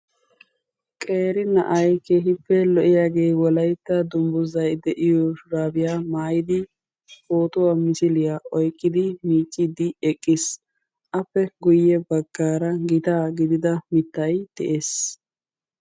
qeeri na'ay keehippe lo''iyaagee wolaytta dungguzay de'iyo shurabbiya maayyidi pootuwaa misiliyaa oyqqidi miiccid eqqiis. appe guyye baggaara gitaa gidida mittay dee'es.